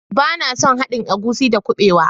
Bana son haɗin agushi da kubewa